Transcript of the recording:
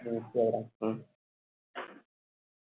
হম তুই আগে রাখ।